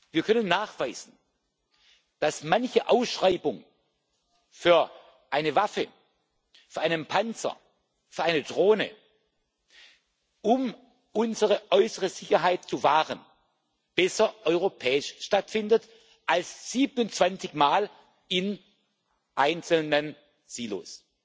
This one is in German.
Wir können nachweisen, dass manche Ausschreibung für eine Waffe, für einen Panzer, für eine Drohne, um unsere äußere Sicherheit zu wahren, besser europäisch stattfindet als 27 Mal in einzelnen Silos.